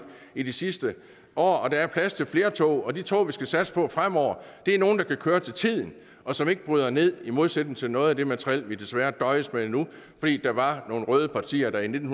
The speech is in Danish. i de sidste år der er plads til flere tog og de tog vi skal satse på fremover er nogle der kan køre til tiden og som ikke bryder ned i modsætning til noget af det materiel vi desværre døjer med nu fordi der var nogle røde partier der i nitten